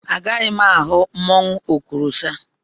Agaghị m ahụ mmanwụ Okorosha.